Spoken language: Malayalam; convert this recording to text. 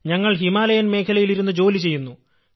ഞങ്ങൾ ഹിമാലയൻ മേഖലയിൽ ഇരുന്നു ജോലി ചെയ്യുന്നു